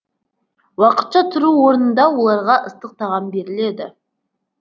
уақытша тұру орнында оларға ыстық тағам беріледі